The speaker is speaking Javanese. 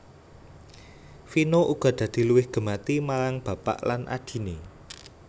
Vino uga dadi luwih gemati marang bapak lan adhiné